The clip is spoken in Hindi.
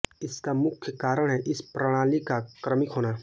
इसका मुख्य कारण है इस प्रणाली का क्रमिक होना